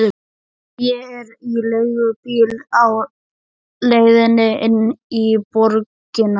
Ég er í leigubíl á leiðinni inn í borgina.